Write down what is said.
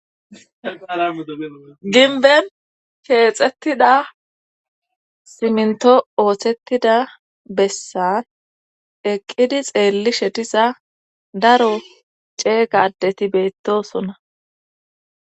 gimbben keexettida simintto ooththettida bessan eqqidii xeellishe diza daro ceega addeti beettosona